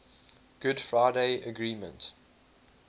good friday agreement